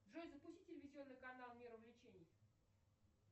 джой запусти телевизионный канал мир увлечений